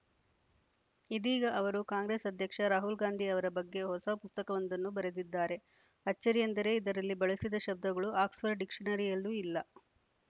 ಇದೀಗ ಅವರು ಕಾಂಗ್ರೆಸ್‌ ಅಧ್ಯಕ್ಷ ರಾಹುಲ್‌ ಗಾಂಧಿ ಅವರ ಬಗ್ಗೆ ಹೊಸ ಪುಸ್ತಕವೊಂದನ್ನು ಬರೆದಿದ್ದಾರೆ ಅಚ್ಚರಿಯೆಂದರೆ ಇದರಲ್ಲಿ ಬಳಸಿದ ಶಬ್ದಗಳು ಆಕ್ಸ್‌ಫರ್ಡ್‌ ಡಿಕ್ಷನರಿಯಲ್ಲೂ ಇಲ್ಲ